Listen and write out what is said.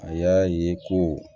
A y'a ye ko